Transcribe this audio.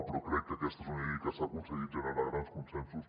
però crec que aquesta és una llei en què s’ha aconseguit generar grans consensos